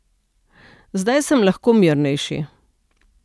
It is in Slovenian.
Zdaj sem lahko mirnejši.